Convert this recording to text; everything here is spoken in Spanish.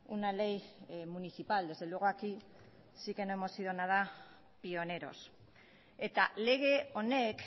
una ley municipal desde luego aquí sí que no hemos sido nada pioneros eta lege honek